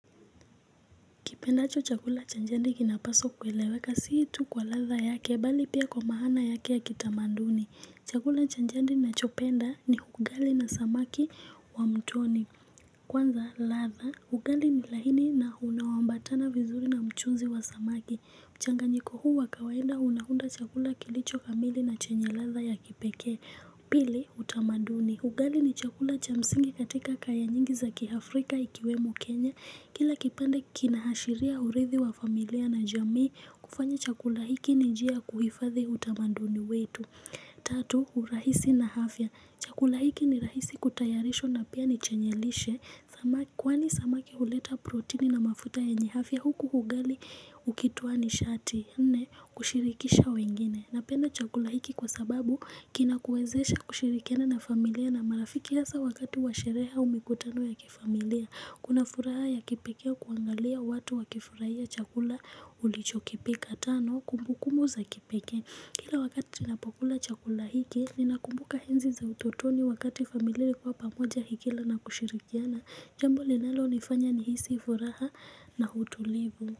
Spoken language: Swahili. Kipendacho chakula cha jadi kinapaswa kueleweka sio tu kwa ladha yake, bali pia kwa maana yake ya kitamaduni. Chakula cha jadi nachopenda ni ugali na samaki wa mtoni. Kwanza ladha, ugali ni laini na unaoambatana vizuri na mchuzi wa samaki. Mchanganyiko huu wa kawaida unauunda chakula kilichokamili na chenye ladha ya kipekee. Pili, utamaduni. Ugali ni chakula cha msingi katika kaya nyingi za kiafrika ikiwemo Kenya. Kila kipande kinaashiria urithi wa familia na jamii kufanya chakula hiki ni njia ya kuhifadhi utamaduni wetu. Tatu, urahisi na afya. Chakula hiki ni rahisi kutayarishwa na pia ni chenye lishe. Kwani samaki huleta proteini na mafuta yenye afya huku ugali ukitoa ni shati. Nne, kushirikisha wengine. Napenda chakula hiki kwa sababu kinakuwezesha kushirikiana na familia na marafiki hasa wakati wa sherehe au mikutano ya kifamilia. Kuna furaha ya kipekee kuangalia watu wakifurahia chakula ulichokipeka. Tano, kumbukumu za kipekee. Kila wakati tunapokula chakula hiki, ninakumbuka enzi za utotoni wakati familia kwa pamoja ikila na kushirikiana Jambo linalonifanya nihisi furaha na utulivu.